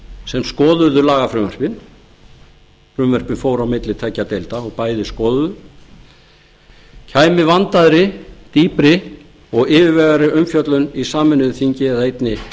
sem skoðuðu lagafrumvörpin frumvörpin fóru á milli tveggja deilda og bæði skoðuðu kæmi vandaðri dýpri og yfirvegaðri umfjöllun í sameinuðu þingi eða einni